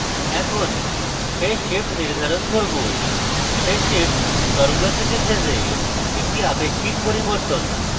এখন phase shift নির্ধারণ করব phase shift তরঙ্গাকৃতি ফেজে একটি আপেক্ষিক পরিবর্তন